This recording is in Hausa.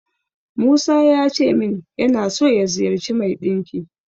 Musa yace min yana so ya ziyarci mai ɗinki.